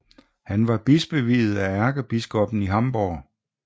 Han var bispeviet af ærkebiskoppen i Hamburg